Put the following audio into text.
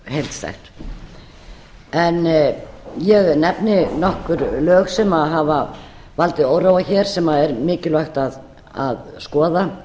heildstætt ég nefni nokkur lög sem hafa valdið óróa hér sem er mikilvægt að skoða